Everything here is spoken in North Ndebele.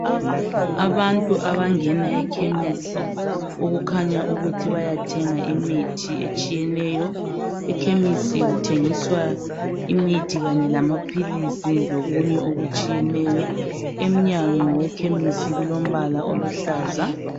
Abantu abangena ekhemisi okukhanya ukuthi bayathenga imithi etshiyeneyo. Ekhemisi kuthengiswa imithi kanye lamaphilisi lokunye okutshiyeneyo. Emnyango wekhemisi kulombala oluhlaza.